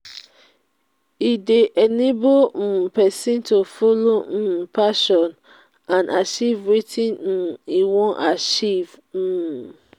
e de enable um persin to follow in passion and acheive wetin um e won achieve um